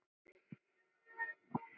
Þráði það eitt.